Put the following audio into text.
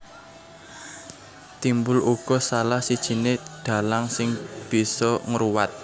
Timbul uga salah sijiné dhalang sing bisa ngruwat